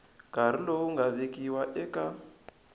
nkarhi lowu nga vekiwa eka